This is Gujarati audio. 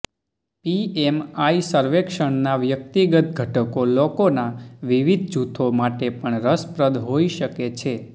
પીએમઆઇ સર્વેક્ષણના વ્યક્તિગત ઘટકો લોકોના વિવિધ જૂથો માટે પણ રસપ્રદ હોઈ શકે છે